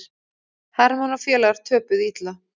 Hermann og félagar töpuðu illa